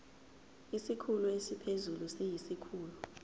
isikhulu esiphezulu siyisikhulu